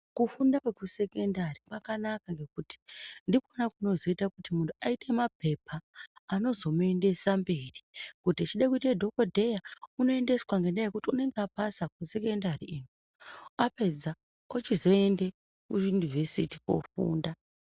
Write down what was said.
Kufunda kwekusekendari kwakanaka ngokuti ndikwona kunozoita kuti muntu aite mapepa anozomuendesa mberi . Kuti echide kuite dhokodheya unoendeswa ngendaa yekuti unenge apasa kusekendari iyo apedza ochizoende kuyunivhesiti kofunda.